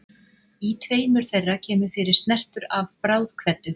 Í tveimur þeirra kemur fyrir snertur af bráðkveddu.